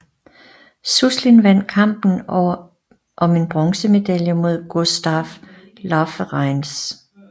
Suslin vandt kampen om en bronzemedalje mod Gustaaf Lauwereins